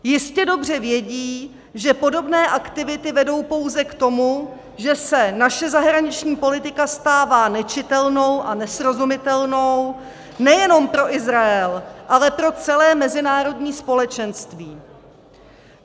Jistě dobře vědí, že podobné aktivity vedou pouze k tomu, že se naše zahraniční politika stává nečitelnou a nesrozumitelnou nejenom pro Izrael, ale pro celé mezinárodní společenství.